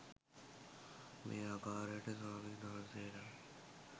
මේ ආකාරයට ස්වාමින් වහන්සේලා